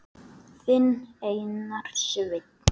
Þinn Einar Sveinn.